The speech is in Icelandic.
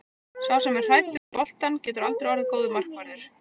Sá sem er hræddur við boltann getur aldrei orðið góður markvörður.